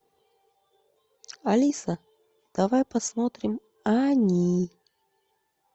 алиса давай посмотрим они